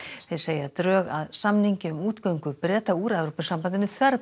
þeir segja að drög að samningi um útgöngu Breta úr Evrópusambandinu